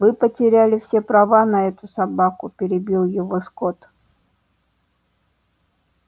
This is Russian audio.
вы потеряли все права на эту собаку перебил его скотт